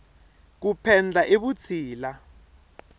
ku penda i vutshila